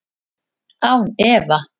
Án efa